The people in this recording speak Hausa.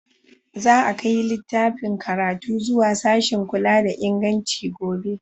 Za a kai littafin karatu zuwa sashin kula da inganci gobe.